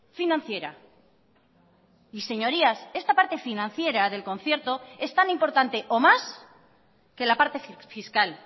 financiera y señorías esta parte financiera del concierto es tan importante o más que la parte fiscal